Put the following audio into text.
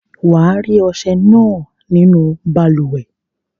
Wà á rí ọsẹ náà nínú balùwẹ̀.